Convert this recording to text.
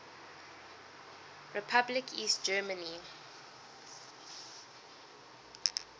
republic east germany